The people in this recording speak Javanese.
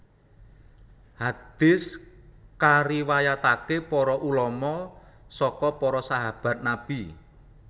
Hadis kariwayatake para ulama saka para sahabat Nabi